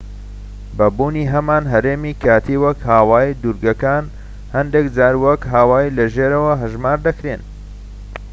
بە بوونی هەمان هەرێمی کاتی وەک هاوایی دوورگەکان هەندێك جار وەک هاوایی لە ژێرەوە هەژمار دەکرێن